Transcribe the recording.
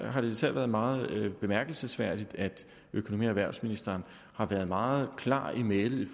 har især været meget bemærkelsesværdigt at økonomi og erhvervsministeren har været meget klar i mælet